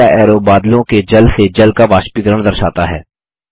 तीसरा ऐरो बादलों के जल से जल का वाष्पीकरण दर्शाता है